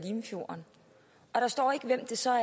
limfjorden og der står ikke hvem det så er